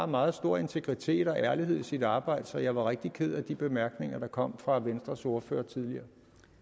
meget stor integritet og ærlighed sit arbejde så jeg var rigtig ked af de bemærkninger der kom fra venstres ordfører tidligere